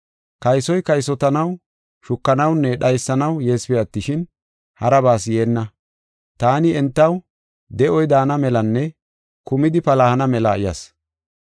Kaysoy kaysotanaw, shukanawunne dhaysanaw yeesipe attishin, harabas yeenna. Taani entaw de7oy daana melanne kumidi palahana mela yas.